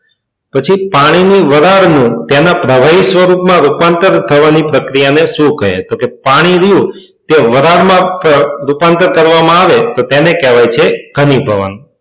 પછી પાણીની વરાળની તેના પ્રભાવિત સ્વરૂપમાં રૂપાંતર થવાની પ્રક્રિયાને શું કહે? તો કે પાણી રહ્યું તેને વરાળમાં રૂપાંતર કરવામાં આવે તો તેને કહેવામાં આવે છે ઘનીભવન.